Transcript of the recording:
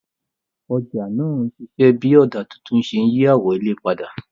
Ọjà náà ń ṣiṣẹ́ bí ọ̀dà tuntun ṣe ń yí àwọn ilé padà.